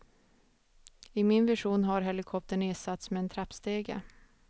I min version har helikoptern ersatts med en trappstege.